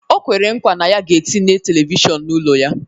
O kwere nkwa na ya ga-etinye televishọnu n'ụlọ ya.